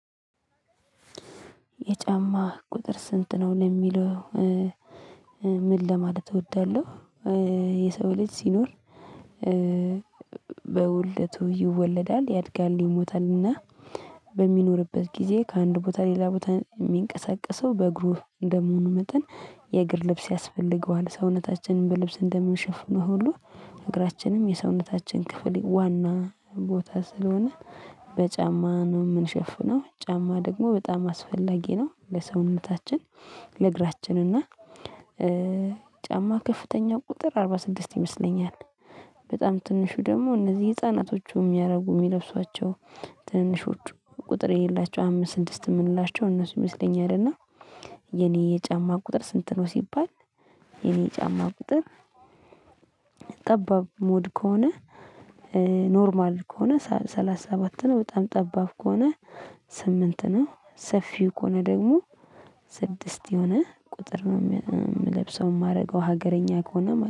የጫማ ቁጥር ስንት ነው ለሚለው? ምን ለማለት እወዳለሁ የሰው ልጅ ሲኖር። በውልደቱ ይወለዳል ያድጋል ይሞታልና በሚኖርበት ጊዜ ከአንድ ቦታ ሌላ ቦታ የሚንቀሳቀሰው በእግሩ እንደመሆኑ መጠን የእግር ልብስ ያስፈልገዋል። ሰውነታችንን በልብስ እንደምንሸፍነው ሁሉ እግራችንም የሰውነታችን ክፍል ዋና ቦታ ስለሆነ በጫማ ነው የምንሸፍነው ጫማ ደግሞ በጣም አስፈላጊ ነው ለሰውነታችን። ለእግራችን እና ጫማ ከፍተኛ ቁጥር አርባ ስድስት ይመስለኛል። በጣም ትንሹ ደግሞ እነዚህ ህፃናቶቹ የሚያደርጉ የሚለብሷቸው ትንሾች ቁጥር የሌላቸው አምስት ስድስት የምንላቸው እነሱ ይመስለኛል። እና የኔ የጫማ ቁጥር ስንት ነው ሲባል? የኔ የጫማ ቁጥር። ጠባብ ሞድ ከሆነ ኖርማል ከሆነ ሰላሳ ሰባት ነው። በጣም ጠባብ ከሆነ ስምንት ነው። ሰፊው ከሆነ ደግሞ ስድስት የሆነ ቁጥር ነው የምለብሰው የማደርገው ሀገረኛ ከሆነ